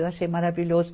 Eu achei maravilhoso.